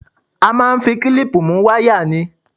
A ó máa fi klíìpù mú wáyà ni